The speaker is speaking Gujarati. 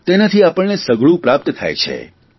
તેનાથી આપણને સઘળું પ્રાપ્ત થાય છે